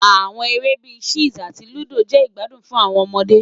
Awọn ere bii Chess ati Ludo jẹ igbadun fun awọn ọmọde